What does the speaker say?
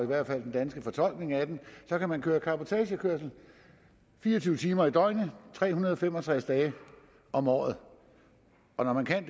hvert fald den danske fortolkning af den så kan man køre cabotagekørsel fire og tyve timer i døgnet tre hundrede og fem og tres dage om året og når man kan